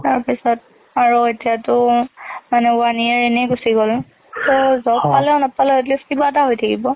তাৰ পিছত আৰু এতিয়াটো one year এনে গুচি গল, so job পালেওঁ নাপালেওঁ at least কিবা এটা হৈ থাকিব।